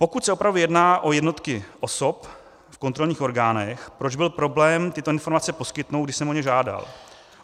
Pokud se opravdu jedná o jednotky osob v kontrolních orgánech, proč byl problém tyto informace poskytnout, když jsem o ně žádal?